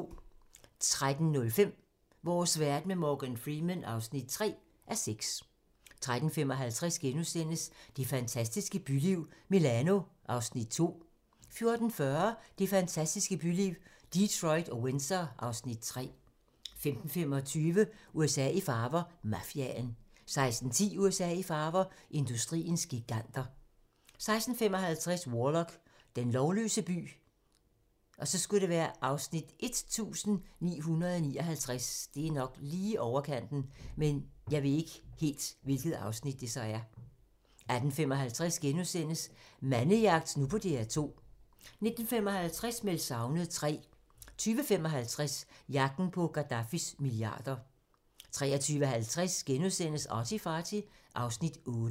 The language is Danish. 13:05: Vores verden med Morgan Freeman (3:6) 13:55: Det fantastiske byliv – Milano (Afs. 2)* 14:40: Det fantastiske byliv – Detroit og Windsor (Afs. 3) 15:25: USA i farver - Mafiaen 16:10: USA i farver - industriens giganter 16:55: Warlock – den lovløse by (Afs. 1959) 18:55: Mandemagt nu på DR2 * 19:55: Meldt savnet III 20:55: Jagten på Gadaffis milliarder 23:50: ArtyFarty (Afs. 8)*